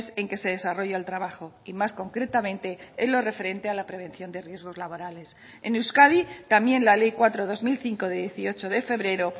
en que se desarrolla el trabajo y más concretamente en lo referente a la prevención de riesgos laborales en euskadi también la ley cuatro barra dos mil cinco de dieciocho de febrero